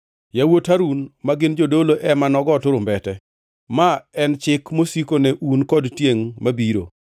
“Yawuot Harun, ma gin jodolo, ema nogo turumbete. Ma en chik mosiko ne un kod tiengʼ mabiro.